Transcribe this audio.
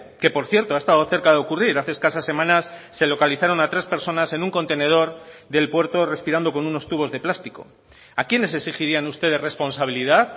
que por cierto ha estado cerca de ocurrir hace escasas semanas se localizaron a tres personas en un contenedor del puerto respirando con unos tubos de plástico a quiénes exigirían ustedes responsabilidad